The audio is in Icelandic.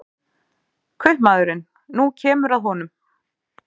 Kaupmaðurinn: nú kemur að honum.